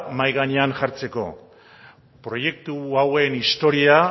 mahai gainean jartzeko proiektu hauen historia